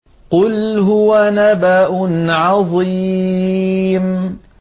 قُلْ هُوَ نَبَأٌ عَظِيمٌ